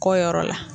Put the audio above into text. Kɔ yɔrɔ la